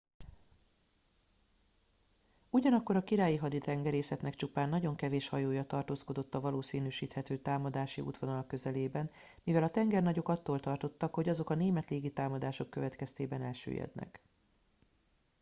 ugyanakkor a királyi haditengerészetnek csupán nagyon kevés hajója tartózkodott a valószínűsíthető támadási útvonal közelében mivel a tengernagyok attól tartottak hogy azok a német légitámadások következtében elsüllyednek